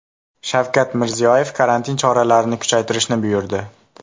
Shavkat Mirziyoyev karantin choralarini kuchaytirishni buyurdi.